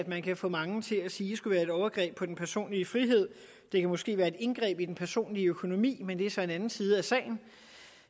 man kan få mange til at sige skulle være et overgreb på den personlige frihed det kan måske være et indgreb i den personlige økonomi men det er så en anden side af sagen